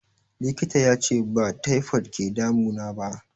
Likita yace ba taifod ke damu naba